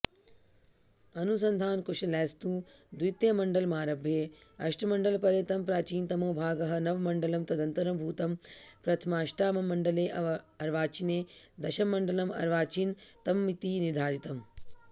अनुसन्धानकुशलैस्तु द्वितीयमण्डलमारभ्य अष्टमण्डलपर्यन्तं प्राचीनतमो भागः नवममण्डलं तदनन्तरभूतं प्रथमाष्टाममण्डले अर्वाचीने दशममण्डलं अर्वाचीनतममिति निर्धारितम्